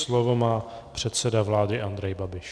Slovo má předseda vlády Andrej Babiš.